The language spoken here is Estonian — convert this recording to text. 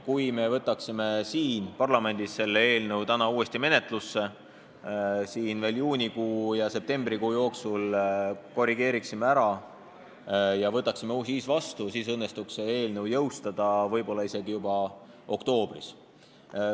Kui me võtaksime parlamendis selle seaduse täna uuesti menetlusse, veel juunikuu ja septembrikuu jooksul korrigeeriksime ära ja siis võtaksime vastu, siis õnnestuks see jõustada võib-olla isegi juba oktoobris.